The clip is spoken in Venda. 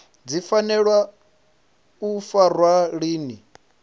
dzi fanela u farwa lini